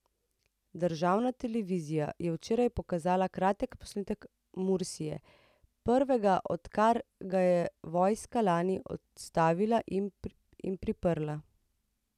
Državna televizija je včeraj pokazala kratek posnetek Mursija, prvega, odkar ga je vojska lani odstavila in priprla.